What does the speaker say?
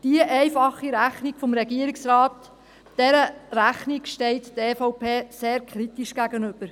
Dieser einfachen Rechnung des Regierungsrates steht die EVP sehr kritisch gegenüber.